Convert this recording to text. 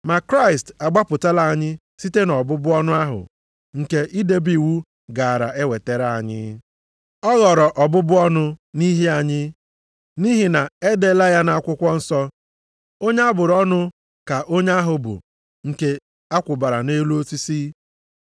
Ma Kraịst agbapụtala anyị site nʼọbụbụ ọnụ ahụ nke idebe iwu gaara ewetara anyị. Ọ ghọrọ ọbụbụ ọnụ nʼihi anyị. Nʼihi na e deela ya nʼakwụkwọ nsọ, “Onye a bụrụ ọnụ ka onye ahụ bụ nke a kwụbara nʼelu osisi.” + 3:13 \+xt Dit 21:23\+xt*